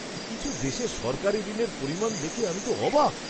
কিছু দেশে সরকারি ঋণের পরিমাণ দেখে আমি তো অবাক!